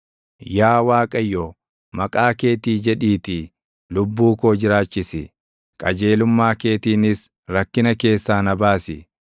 Yaa Waaqayyo, maqaa keetii jedhiitii lubbuu koo jiraachisi; qajeelummaa keetiinis rakkina keessaa na baasi.